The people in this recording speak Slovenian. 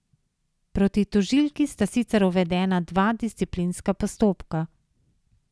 Proti tožilki sta sicer uvedena dva disciplinska postopka.